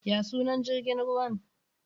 Ya sunan jrigin ruwan?